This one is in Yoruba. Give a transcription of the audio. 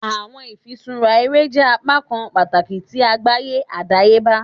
Awọn ifiṣura ere jẹ apakan pataki ti agbaye adayeba.